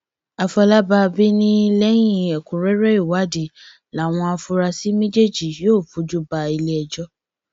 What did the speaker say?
àfọlábàbí ni lẹyìn ẹkúnrẹrẹ ìwádìí làwọn afurasí méjèèjì yóò fojú bá iléẹjọ